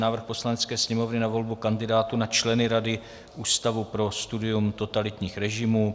Návrh Poslanecké sněmovny na volbu kandidátů na členy Rady Ústavu pro studium totalitních režimů